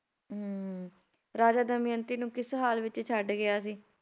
ਹਮ ਹੁੰ ਹੁੰ ਰਾਜਾ ਦਮਿਅੰਤੀ ਨੂੰ ਕਿਸ ਹਾਲ ਵਿੱਚ ਛੱਡ ਗਿਆ ਸੀ